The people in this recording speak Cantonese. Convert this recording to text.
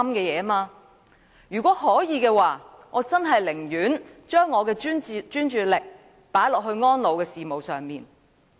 如果可以，我寧可把專注力放在安老事務上。